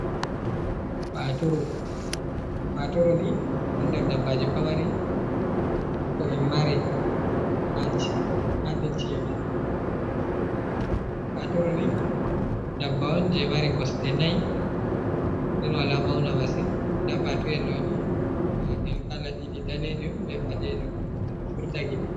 Paaturu, paaturu ni ɗon nder dabbaaji pamari ko on mari haa nder ci'e men. Paaturu ni dabbawa on, jey mari kosɗe nayi .Nden wala mawna masin, ndaa paatuyel ɗoni ɓanndu maagel kala ɗiɗi daneejum be ɓaleejum ndu ɗo furta gite.